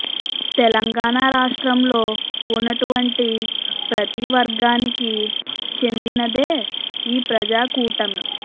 తెలంగాణా రాష్ట్రం లో ఉన్నటువంటి ప్రతి వర్గానికి చెందినదే ఈ ప్రజా కూటమి